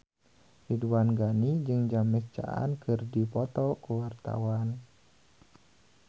Ridwan Ghani jeung James Caan keur dipoto ku wartawan